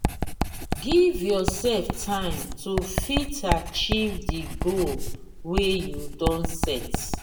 give yourself time to fit achieve di goal wey you don set